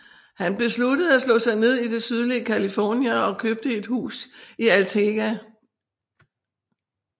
Han besluttede at slå sig ned i det sydlige California og købte et hus i Altadena